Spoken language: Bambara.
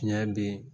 Tiɲɛ bɛ yen